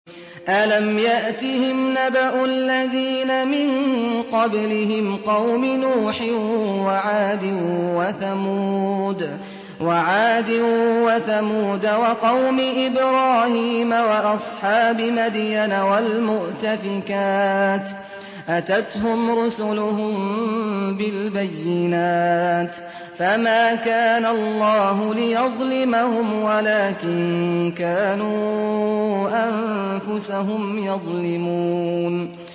أَلَمْ يَأْتِهِمْ نَبَأُ الَّذِينَ مِن قَبْلِهِمْ قَوْمِ نُوحٍ وَعَادٍ وَثَمُودَ وَقَوْمِ إِبْرَاهِيمَ وَأَصْحَابِ مَدْيَنَ وَالْمُؤْتَفِكَاتِ ۚ أَتَتْهُمْ رُسُلُهُم بِالْبَيِّنَاتِ ۖ فَمَا كَانَ اللَّهُ لِيَظْلِمَهُمْ وَلَٰكِن كَانُوا أَنفُسَهُمْ يَظْلِمُونَ